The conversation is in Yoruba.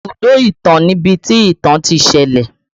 Ibùdó ìtàn ni ibi tí ìtàn ti ṣẹlẹ̀